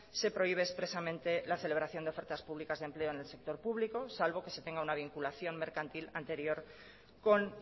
se prohíbe expresamente la celebración de ofertas públicas de empleo en el sector público salvo que se tenga una vinculación mercantil anterior con